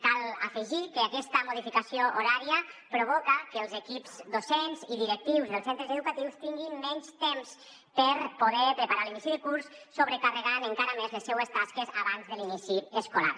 cal afegir que aquesta modi·ficació horària provoca que els equips docents i directius dels centres educatius tin·guin menys temps per poder preparar l’inici de curs sobrecarregant encara més les seues tasques abans de l’inici escolar